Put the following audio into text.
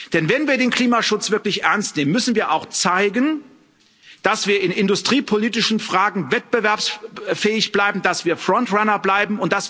Denn wenn wir den Klimaschutz wirklich ernst nehmen, müssen wir auch zeigen, dass wir in industriepolitischen Fragen wettbewerbsfähig bleiben, dass wir front runner bleiben.